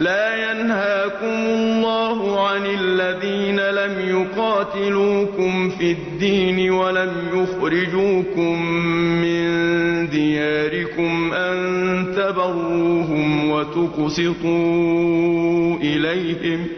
لَّا يَنْهَاكُمُ اللَّهُ عَنِ الَّذِينَ لَمْ يُقَاتِلُوكُمْ فِي الدِّينِ وَلَمْ يُخْرِجُوكُم مِّن دِيَارِكُمْ أَن تَبَرُّوهُمْ وَتُقْسِطُوا إِلَيْهِمْ ۚ